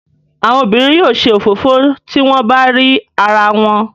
Àwọn obìnrin yóò ṣe òfófó tí wọ́n bá rí arawọn.